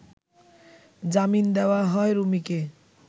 জামিন দেওয়া হয় রুমিকে